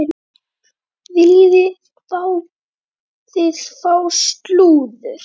Viljið þið fá slúður?